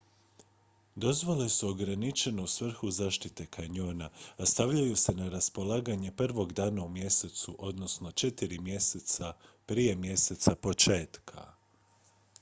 dozvole su ograničene u svrhu zaštite kanjona a stavljaju se na raspolaganje prvog dana u mjesecu odnosno četiri mjeseca prije mjeseca početka